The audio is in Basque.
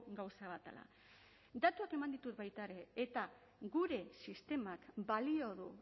gauza bat dela datuak eman ditut baita ere eta gure sistemak balio du